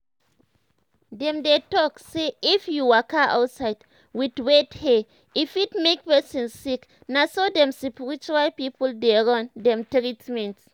dem dey talk say if you waka outside with wet hair e fit make person sick na so dem spiritual people dey run dem treatment.